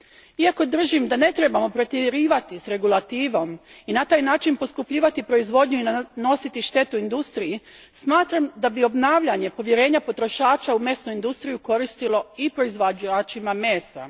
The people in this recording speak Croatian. Iako držim da ne trebamo pretjerivati s regulativom i na taj način poskupljivati proizvodnju i nanositi štetu industriji, smatram da bi obnavljanje povjerenja potrošača u mesnu industriju koristilo i proizvođačima mesa.